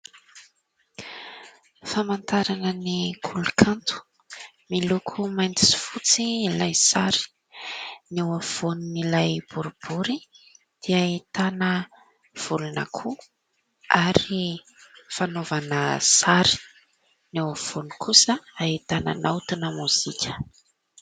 Famantarana ny koly-kanto, miloko mainty sy fotsy ilay sary. Ny eo afovoan'ilay boribory dia ahitana volon'akoho ary fanaovana sary, ny eo afovoany kosa ahitana naotina mozika.